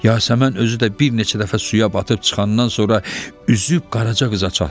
Yasəmən özü də bir neçə dəfə suya batıb çıxandan sonra üzüb Qaraca qıza çatdı.